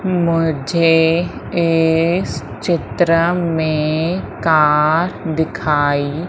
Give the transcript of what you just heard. मुझे इस चित्र में कार दिखाई--